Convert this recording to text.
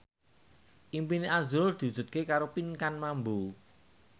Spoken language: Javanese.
impine azrul diwujudke karo Pinkan Mambo